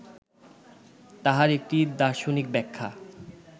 তাহার একটি দার্শনিক ব্যাখ্যা